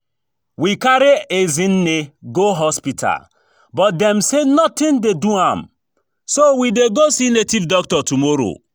We carry Ezinne go hospital but dem say nothing dey do am so we dey go see native doctor tomorrow